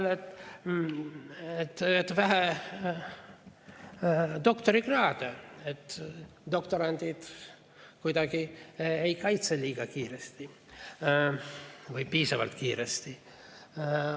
et vähe doktorikraade on, doktorandid ei kaitse piisavalt kiiresti.